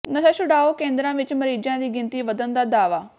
ਨਸ਼ਾ ਛੁਡਾਊ ਕੇਂਦਰਾਂ ਵਿੱਚ ਮਰੀਜ਼ਾਂ ਦੀ ਗਿਣਤੀ ਵਧਣ ਦਾ ਦਾਅਵਾ